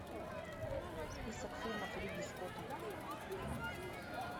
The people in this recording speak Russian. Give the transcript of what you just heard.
список фильмов ридли скотта